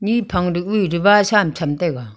niphang to daba sa am cham taiga.